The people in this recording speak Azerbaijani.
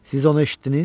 Siz onu eşitdiniz?